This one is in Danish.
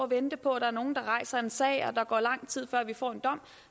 vente på at der er nogen der rejser en sag og at der går lang tid før vi får en dom